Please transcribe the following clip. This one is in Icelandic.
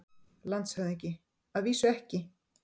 LANDSHÖFÐINGI: Að vísu ekki.